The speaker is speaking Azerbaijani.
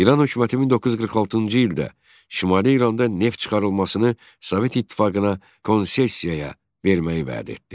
İran hökuməti 1946-cı ildə Şimali İranda neft çıxarılmasını Sovet İttifaqına konsessiyaya verməyi vəd etdi.